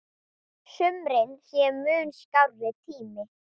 Sumrin séu mun skárri tími.